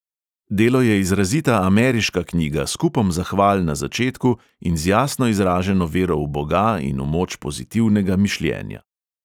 Delo je izrazita ameriška knjiga s kupom zahval na začetku in z jasno izraženo vero v boga in v moč pozitivnega mišljenja.